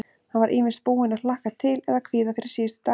Hann var ýmist búinn að hlakka til eða kvíða fyrir síðustu dagana.